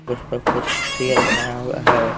उस पर कुछ फिगर बनाया हुआ है।